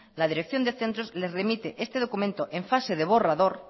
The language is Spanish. la dirección de centros les remite este documento en fase de borrador